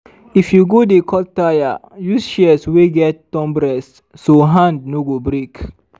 if you go dey cut taya use shears wey get thumb rest so hand no go break.